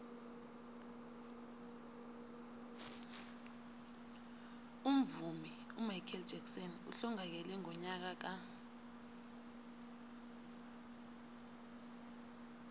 umvumi umichael jackson uhlongakele ngonyaka ka